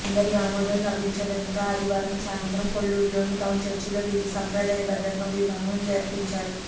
అందరి ఆమోదం లభించండంతో ఆదివారం సాయంత్రం కొల్లూరులోని టౌన్ చర్చిలో వీరికి సంప్రదాయబద్ధంగా వివాహం జరిపించారు